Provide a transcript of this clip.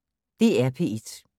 DR P1